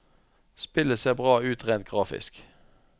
Spillet ser bra ut rent grafisk.